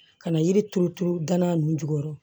Ka na yiri turu turu gana nun jukɔrɔ